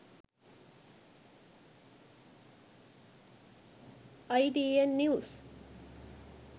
itn news